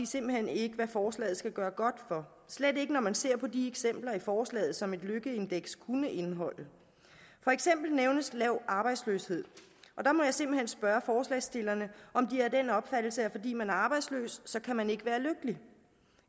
simpelt hen ikke hvad forslaget skal gøre godt for slet ikke når man ser på de eksempler i forslaget som et lykkeindeks kunne indeholde for eksempel nævnes lav arbejdsløshed og der må jeg simpelt hen spørge forslagsstillerne om de er af den opfattelse at fordi man er arbejdsløs så kan man ikke være lykkelig